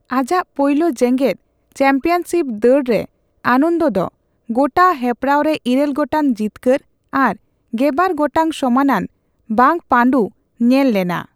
ᱟᱡᱟᱜ ᱯᱳᱭᱞᱳ ᱡᱮᱜᱮᱫ ᱪᱟᱢᱯᱤᱭᱟᱱᱥᱤᱯ ᱫᱟᱹᱲ ᱨᱮ ᱟᱱᱚᱱᱫᱚ ᱫᱚ ᱜᱳᱴᱟ ᱦᱮᱯᱨᱟᱶ ᱨᱮ ᱤᱨᱟᱹᱞ ᱜᱚᱴᱟᱝ ᱡᱤᱛᱠᱟᱹᱨ ᱟᱨ ᱜᱮᱵᱟᱨ ᱜᱚᱴᱟᱝ ᱥᱚᱢᱟᱱᱟᱱ ᱵᱟᱝᱼᱯᱟᱸᱰᱩ ᱧᱮᱞ ᱞᱮᱱᱟ ᱾